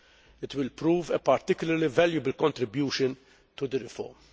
It will prove a particularly valuable contribution to the reform.